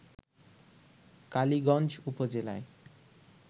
কালিগঞ্জ উপজেলায়